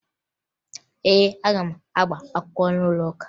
Ee, aga m agba akwụkwọ n'ụlọụka